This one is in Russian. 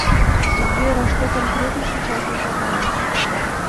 сбер а что конкретно сейчас выполняешь